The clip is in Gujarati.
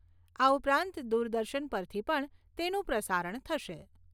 આ ઉપરાંત દુરદર્શન પરથી પણ તેનું પ્રસારણ થશે.